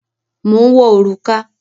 Mò ń wọ òrùka.